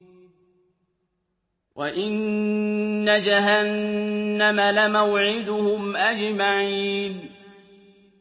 وَإِنَّ جَهَنَّمَ لَمَوْعِدُهُمْ أَجْمَعِينَ